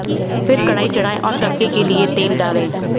फिर कढाई चढ़ाएं और तड़के के लिए तेल डालें